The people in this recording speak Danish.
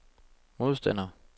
modstander